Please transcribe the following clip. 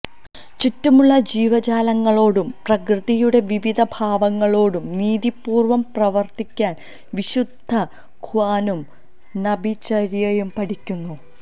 ചുറ്റുമുള്ള ജീവജാലങ്ങളോടും പ്രകൃതിയുടെ വിവിധ ഭാവങ്ങളോടും നീതിപൂര്വം പ്രവര്ത്തിക്കാന് വിശുദ്ധ ഖുര്ആനും നബിചര്യയും പഠിപ്പിക്കുന്നു